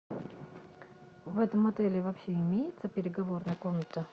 в этом отеле вообще имеется переговорная комната